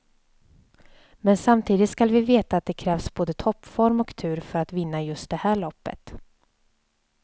Men samtidigt skall vi veta att det krävs både toppform och tur för att vinna just det här loppet.